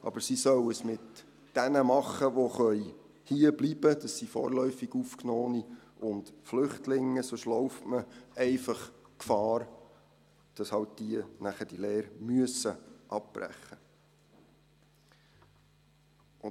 Aber sie sollen es mit denen machen, die hierbleiben können – das sind vorläufig Aufgenommene und Flüchtlinge –, sonst läuft man einfach Gefahr, dass diese die Lehre halt nachher abbrechen müssen.